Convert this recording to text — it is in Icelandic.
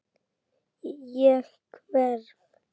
Ég hverf.